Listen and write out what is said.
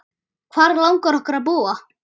Hvar langar okkur að búa?